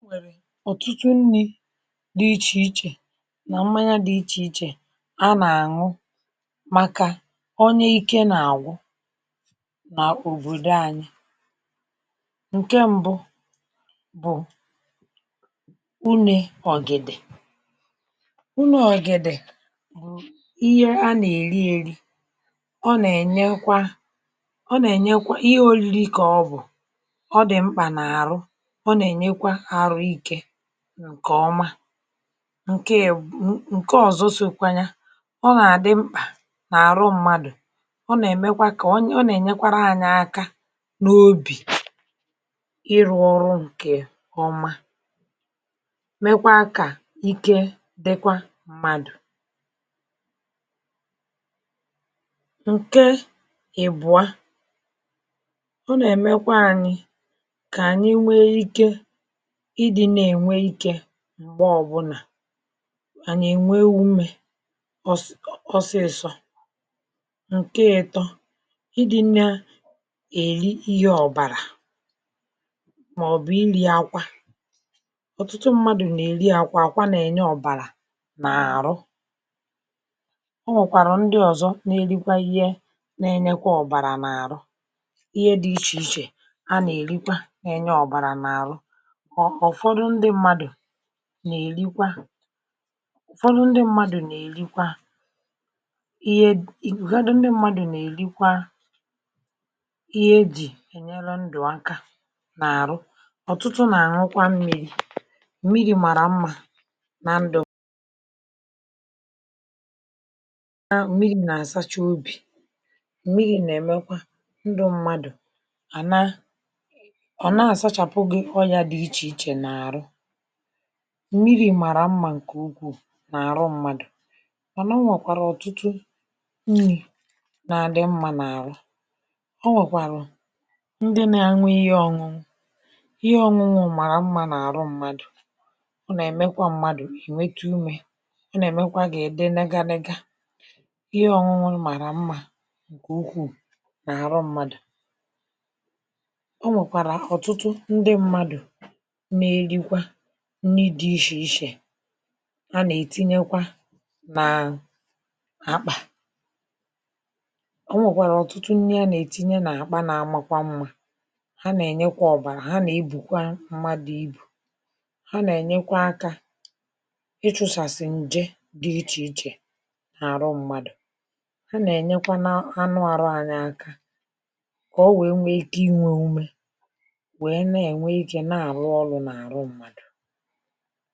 E nwèrè ọtụtu nri dị ichèichè nà mmanya dị ichèichè a nà-àṅụ màkà onye ike nà-àgwụ nà òbòdò anyị: Nkè m̀bụ, bụ̀ ụnụ ọ̀gìdi; bụ̀ ụnụ ọ̀gìdi bụ ihe a nà-èri eri, ọ nà-ènyekwa ọ nà-ènyekwa, ihe òriri kà ọ bụ,̀ ọ dị̀ mkpà nà àrụ, o na enyekwa ahụ ikė ǹkè ọma. Nke ị̀bụ̀, ǹke ọ̀zọ sȯkwanya, ọ nà-àdị mkpà n’àrụ mmadụ,̀ ọ nà-èmekwa kà, o nà-ènyekwara anyị aka n’obì, ịrụ̇ ọrụ ǹkè ọma, mekwaa kà ike dịkwa mmadụ. Nkè ị̀bụ̀a, ọ nà-èmekwa anyị kà anyị nwèè ikė idi n'enwe ikė m̀gbe ọ bụlà. Anyị ènwe wụ mmė ọs ọsịsọ̇. Nkè ịtọ, i di̇ nà èli ihe ọ̀bàrà, mà ọ bụ,̀ i lì akwa. ọ̀tụtụ mmadụ̀ nà-èli akwa, àkwa nà-ènye ọ̀bàrà nà-àrụ. E nwèkwère ǹdi ọzọ ǹ’èrikwa ìhe n'ènye ọ̀bàrà nà-àrụ. Ihe dị̇ichèiche ha nà-èrikwà nà-ènye ọ̀bàrà nà-àrụ.̀ọ Ufọdụ ndị mmadụ̀ nà-èrikwa, ufọdụ ndị mmadụ̀ nà-èrikwa, ìhe ìgwèh ufọdụ ndị mmadụ̀ nà-èrikwa ihe jì ènyelu ndụ̀ aka nà-àrụ. ọ̀tụtụ nà-àhụkwa mmiri̇, m̀miri màrà mmȧ nà ndụ. Yà wụrụ, mmiri nà-asacha obi, mmiri nà-emekwa ndụ mmadụ a nà, a nà-asachapu gị ọrịà di ichè ichè nà-àru. Mmirì mmàrà mmȧ ǹkè ukwù nà àrụ mmadù. Mànà o nwèkwàrà ọ̀tụtụ mmirị nà adị mmȧ nà àrụ. O nwèkwàrà ndị na anwụ ihe ọ̀nụnụ̇, ihe ọ̀nụnụ̇ màrà mmȧ nà àrụ mmadù. ọ nà-èmekwa mmadù inwete umė, ọ nà-èmekwa gị idị nlega nlega. ihe ọ̀nụnụ̇ màrà mmȧ nkè ukwù nà àrụ mmadù. O nwèkwàra ọtụtu ǹdi mmadụ nà-èrikwà nni dị̇ ishè ishè a nà-ètinyekwa nà-àkpà. ọ nwèkwàrà ọ̀tụtụ nni a nà-ètinye nà-àkpa n’amȧkwa mmȧ, ha nà-ènyekwa ọ̀bàrà, ha nà-ebùkwa mmadụ̇ ibù, ha nà-ènyekwa akȧ, ịchụsàsị̀ ǹje dị ichè ichè n’àrụ mmadụ.̀ Ha nà-ènyekwa na anụ àrụ anyị aka, kà o wèe nwee ike inwė ume, wèe na-ènwe ikè na-àrụ ọrụ̇ nà-àrụ mmadụ.̀